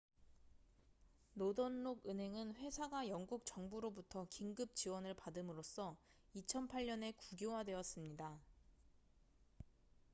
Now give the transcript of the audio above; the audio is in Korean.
노던록 은행은 회사가 영국 정부로부터 긴급 지원을 받음으로써 2008년에 국유화되었습니다